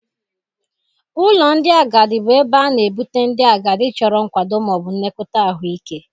Ụlọ ndị agadi bụ ebe a na-ebute ndị agadi chọrọ nkwado ma ọ bụ nlekọta ahụike.